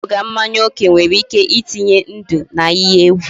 Iṅụbiga mmanya oke nwere ike itenye ndụ n'ihe egwu